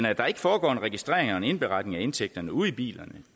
at der ikke foregår en registrering og en indberetning af indtægterne ude i bilerne